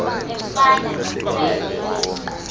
efana nemfe le